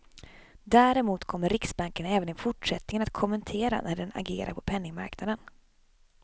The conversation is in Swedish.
Däremot kommer riksbanken även i fortsättningen att kommentera när den agerar på penningmarknaden.